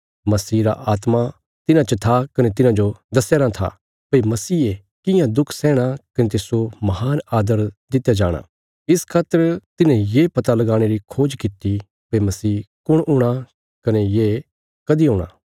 मसीह रा आत्मा तिन्हां च था कने तिन्हांजो दस्यारां था भई मसीहे कियां दुख सैहणा कने तिस्सो महान आदर दित्या जाणा इस खातर तिन्हें ये पता लगाणे री खोज कित्ती भई मसीह कुण हूणा कने ये कदीं हूणा